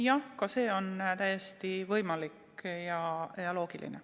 Jah, ka see on täiesti võimalik ja loogiline.